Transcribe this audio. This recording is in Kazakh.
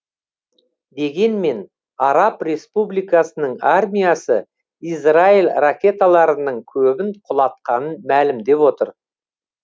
дегенмен араб республикасының армиясы израиль ракеталарының көбін құлатқанын мәлімдеп отыр